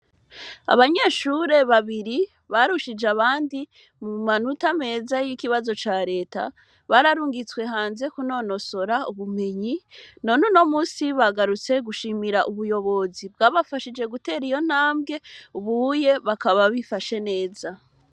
Abanyeshure babiri barushije abandi mu manota meza y'ikibazo ca Leta, bararungitswe hanze kunonosora ubumenyi none uno munsi bagarutse gushimira ubuyobozi bwabafashije gutera iyo ntambwe ubu bakaba bifashe neza.